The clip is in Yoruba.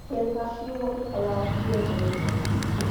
ó yẹ ká ṣíwọ pípa ara wa bíi ẹni pa èèrà